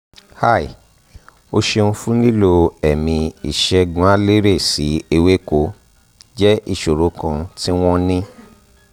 hi o ṣeun fun lilo ẹ̀mí ìṣègùnaleré sí ewéko jẹ ìṣòro kan tí wọ́n ń ní